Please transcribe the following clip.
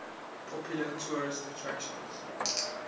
popular tourist attraction